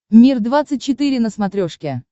мир двадцать четыре на смотрешке